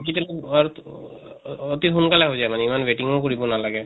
digital ত অতি সোনকালে হৈ যায় মানে ইমান waiting ও কৰিব নালাগে।